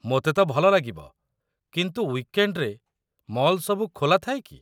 ମୋତେ ତ ଭଲ ଲାଗିବ, କିନ୍ତୁ ୱିକେଣ୍ଡ୍‌ରେ ମଲ୍ ସବୁ ଖୋଲା ଥାଏ କି?